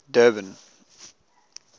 durban